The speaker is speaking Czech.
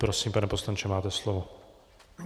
Prosím, pane poslanče, máte slovo.